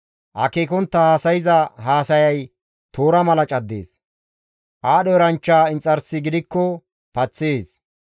Akeekontta haasayza haasayay toora mala caddees; aadho eranchcha inxarsi gidikko paththees.